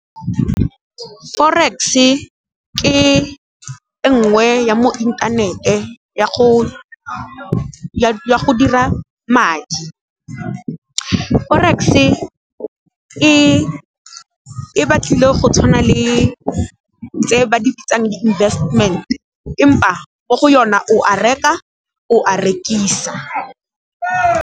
Forex-e ke e ngwe ya mo inthanete ya go dira madi. Forex e batlile go tshwana le tse ba di bitsang di-investment empa mo go yona o a reka, o a rekisa.